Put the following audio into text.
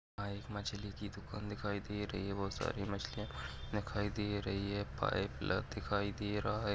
यहाँ एक मछली की दुकान दिखाई दे रही है बहोत सारी मछलियाँ दिखाई दे रही है पाइप ल दिखाई दे रहा है।